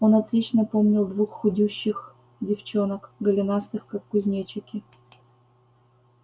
он отлично помнил двух худющих девчонок голенастых как кузнечики